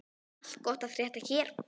Allt gott að frétta hér.